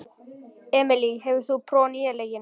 Emely, hefur þú prófað nýja leikinn?